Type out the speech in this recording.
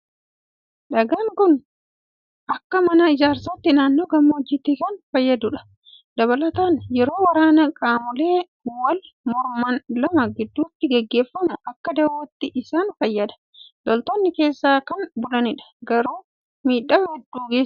Dhagaan kun akka mana ijaarsaatti naannoo gammoojjiitti kan fayyadudha. Dabalataan yeroo waraana qaamolee wal morman lama gidduutti gaggeeffamu akka dawootti isaan fayyada. Loltoonni keessa kan bulanidha. Garuu miidhaa hedduu geessisa.